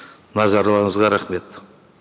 назарларыңызға рахмет